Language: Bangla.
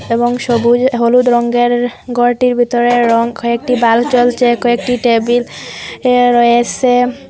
এবং সবুজ হলুদ রঙ্গের গরটির বেতরের রং কয়েকটি বাল্ব জ্বলছে কয়েকটি টেবিল এ রয়েসে।